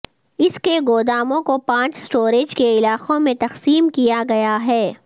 اس کے گوداموں کو پانچ اسٹوریج کے علاقوں میں تقسیم کیا گیا ہے